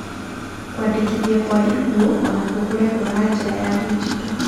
Kũandĩkithia kwa ikuũ o na kuo kũrekwo na njĩra ya ndigito.